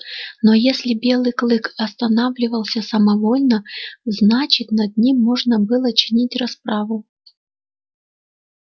но если белый клык останавливался самовольно значит над ним можно было чинить расправу